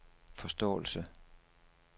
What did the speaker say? forståelse